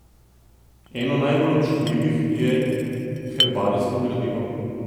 Eno najbolj občutljivih je herbarijsko gradivo.